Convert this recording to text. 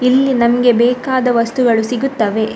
ಇಲ್ಲಿ ನಮ್ಗೆ ಬೇಕಾದ ವಸ್ತುಗಳು ಸಿಗುತ್ತವೆ .